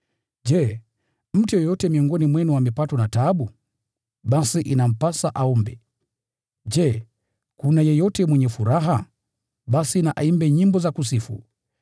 Je, mtu yeyote miongoni mwenu amepatwa na taabu? Basi inampasa aombe. Je, kuna yeyote mwenye furaha? Basi na aimbe nyimbo za kusifu.